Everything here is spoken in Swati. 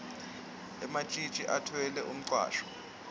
ematjitji atfwele umcwasho